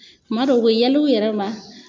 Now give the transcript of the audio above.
Tuma dɔ u be yɛl'u yɛrɛ ma